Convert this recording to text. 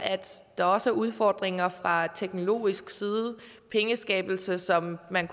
der også er udfordringer fra teknologisk side pengeskabelse som man